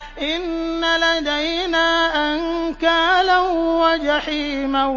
إِنَّ لَدَيْنَا أَنكَالًا وَجَحِيمًا